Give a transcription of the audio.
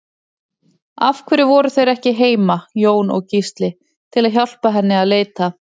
Af hverju voru þeir ekki heima, Jón og Gísli, til að hjálpa henni að leita?